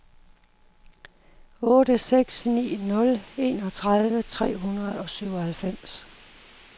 otte seks ni nul enogtredive tre hundrede og syvoghalvfems